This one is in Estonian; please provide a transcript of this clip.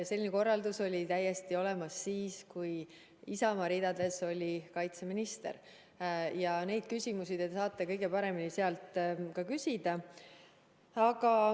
Selline korraldus oli täiesti olemas juba siis, kui kaitseminister oli Isamaa ridadest, ja neid küsimusi te saate kõige paremini küsida temalt.